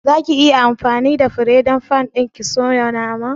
Za ki yi anfani da fire fan ɗin ki soya naman?